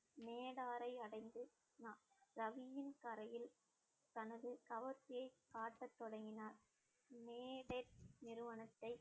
மேடாரை அடைந்து ரவியின் கரையில் தனது கவர்ச்சியை காட்ட தொடங்கினார் நிறுவனத்தை